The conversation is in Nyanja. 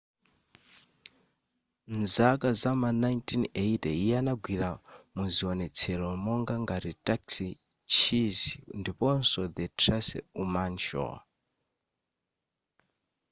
m'zaka zama 1980 iye anagwira muziwonetsero monga ngati taxi cheers ndiponso the tracy ullman show